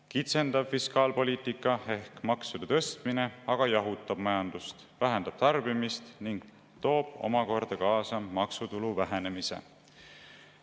Kitsendav fiskaalpoliitika ehk maksude tõstmine aga jahutab majandust, vähendab tarbimist ning toob omakorda kaasa maksutulu vähenemise.